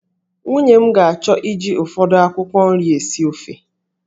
Nwunye m ga-achọ iji ụfọdụ akwụkwọ nri esi ofe